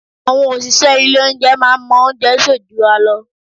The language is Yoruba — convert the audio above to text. Àwọn òṣìṣẹ́ ilé olóunjẹ máa ń mọ oúnjẹ sè jura lọ